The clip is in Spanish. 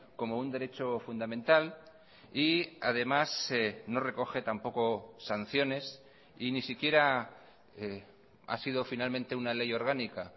como un derecho fundamental y además no recoge tampoco sanciones y ni siquiera ha sido finalmente una ley orgánica